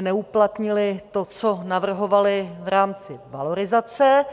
neuplatnili to, co navrhovali v rámci valorizace.